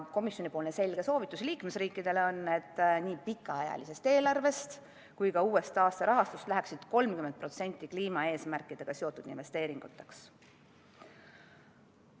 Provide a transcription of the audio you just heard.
Komisjoni selge soovitus liikmesriikidele on, et nii pikaajalisest eelarvest kui ka uuest taasterahastust läheks 30% kliimaeesmärkidega seotud investeeringuteks.